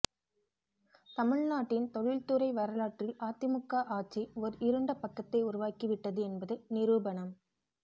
தமிழ்நாட்டின் தொழில்துறை வரலாற்றில் அதிமுக ஆட்சி ஓர் இருண்ட பக்கத்தை உருவாக்கி விட்டது என்பது நிரூபணம்